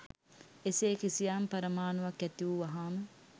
එසේ කිසියම් පරමාණුවක් ඇති වූ වහාම